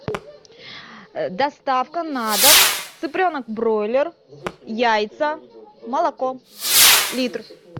доставка на дом цыпленок бройлер яйца молоко литр